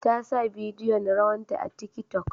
Ta sa bidiyon rawanta a tiki tok